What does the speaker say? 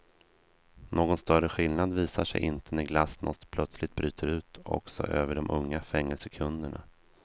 Någon större skillnad visar sig inte när glasnost plötsligt bryter ut också över de unga fängelsekunderna.